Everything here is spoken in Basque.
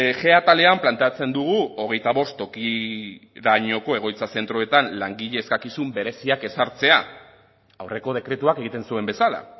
g atalean planteatzen dugu hogeita bost tokirainoko egoitza zentroetan langile eskakizun bereziak ezartzea aurreko dekretuak egiten zuen bezala